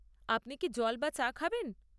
আপনি কি জল বা চা খাবেন?